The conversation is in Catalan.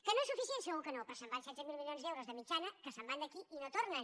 que no és suficient segur que no però se’n van setze mil milions d’euros de mitjana que se’n van d’aquí i no tornen